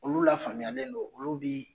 Olu lafaamuyalen don olu bi.